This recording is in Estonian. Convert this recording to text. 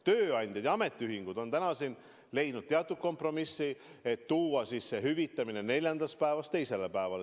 Tööandjad ja ametiühingud on leidnud teatud kompromissi, et tuua hüvitamise algus neljanda päeva asemel teisele päevale.